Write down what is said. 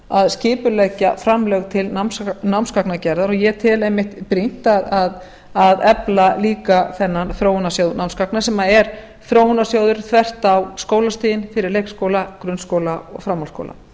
að skipuleggja framlög til námsgagnagerðar ég tel einmitt brýnt að efla líka þennan þróunarsjóð námsgagna sem er þróunarsjóður þvert á skólastigin fyrir leikskóla grunnskóla og framhaldsskóla